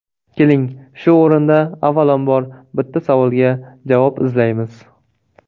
Keling, shu o‘rinda avvalambor, bitta savolga javob izlaymiz.